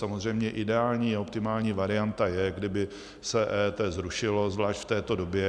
Samozřejmě ideální a optimální varianta je, kdyby se EET zrušilo, zvláště v této době.